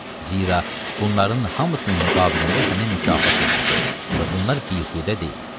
Zira bunların hamısının müqabilində sənə mükafat veriləcək və bunlar bihudə deyil.